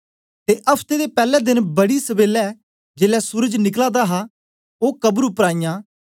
ते अफ्ते दे पैले देन बड़ी सबेला जेलै सूरज निकला हा गै ओ कब्र उपर आईयां